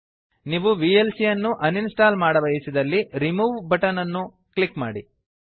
ನೀವು ವಿಎಲ್ಸಿ ಯನ್ನು ಅನ್ಇನ್ಸ್ಟಾಲ್ ಮಾಡಬಯಸಿದಲ್ಲಿ ರಿಮೂವ್ ಬಟನ್ ನ ಮೇಲೆ ಕ್ಲಿಕ್ ಮಾಡಿ